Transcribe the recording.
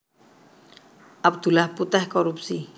Abdullah Puteh korupsi